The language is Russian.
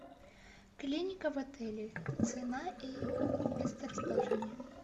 клиника в отеле цена и месторасположение